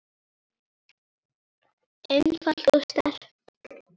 einfalt og sterkt.